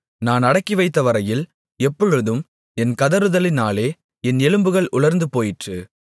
நான் அடக்கிவைத்தவரையில் எப்பொழுதும் என் கதறுதலினாலே என் எலும்புகள் உலர்ந்துபோயிற்று